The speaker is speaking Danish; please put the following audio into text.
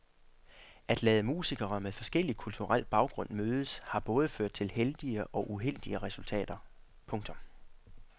At lade musikere med forskellig kulturel baggrund mødes har både ført til heldige og uheldige resultater. punktum